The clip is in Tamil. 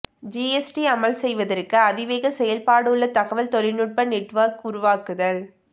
ஜிஎஸ்டி அமல் செய்வதற்கு அதிவேக செயல்பாடுள்ள தகவல் தொழில்நுட்ப நெட்வொர்க் உருவாக்குதல்